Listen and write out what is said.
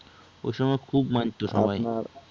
ওইসময় খুব মানতো সবাই, আপনার